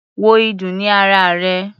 Wo ìdun ní ara rè.